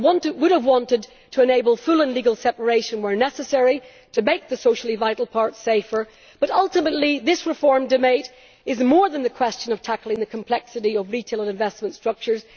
I would have wanted to enable full and legal separation where necessary, to make the socially vital part safer but ultimately this reform debate is more than the question of tackling the complexity of retail investment structures.